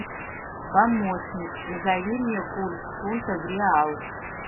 помощник назови мне курс фунта в реал